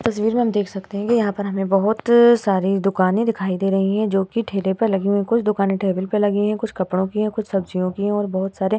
इस तस्वीर मैं हम देख सकते हैं की यहाँ पर बहोत सारी दुकाने दिखाई दे रहे हैं जोकि ठेलो पे लगी हैं कुछ दुकाने टेबल पर लगी हुई है कुछ कपड़ो की है और कुछ सब्जियों की और बहोत सारे --